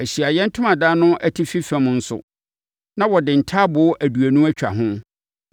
Ahyiaeɛ Ntomadan no atifi fam nso, na wɔde ntaaboo aduonu atwa ho